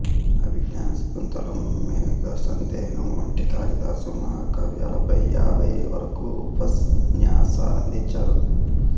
అభిజ్ఞాన శాకుంతలం మేఘసందేశం వంటి కాళిదాసు మహాకావ్యాలపై యాభై వరకు ఉపన్యాసాలందించారు